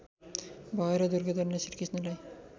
भएर दुर्योधनले श्रीकृष्णलाई